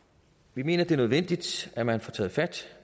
vi mener det er nødvendigt at man får taget fat